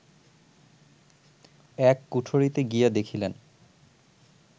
এক কুঠরিতে গিয়া দেখিলেন